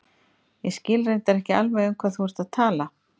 Ég skil reyndar ekki alveg um hvað þú ert að tala.